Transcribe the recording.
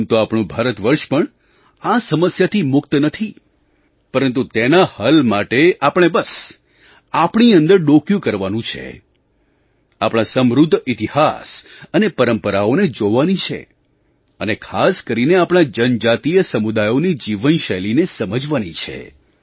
આમ તો આપણું ભારત વર્ષ પણ આ સમસ્યાથી મુક્ત નથી પરંતુ તેના હલ માટે આપણે બસ આપણી અંદર ડોકિયું કરવાનું છે આપણા સમૃદ્ધ ઇતિહાસ અને પરંપરાઓને જોવાની છે અને ખાસ કરીને આપણા જનજાતીય સમુદાયોની જીવનશૈલીને સમજવાની છે